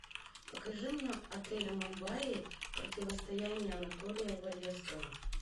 покажи мне отель мумбаи противостояние анатолия валевского